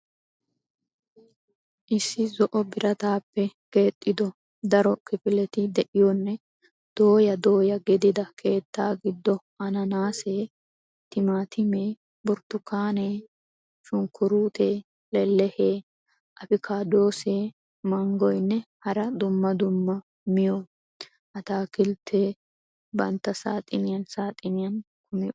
Issi zo'o birataappe keexxido daro kifiletti de'iyonne dooya dooya gidida keetta gido ananaasee, timaatimee, burtukkaanee, shunkkurutee, lelehee, afikaadoosee, manggoynne hara dumma dumma miyo atakilteti bantta saaxxiniyan saaxxiniyan kummi uttidosona.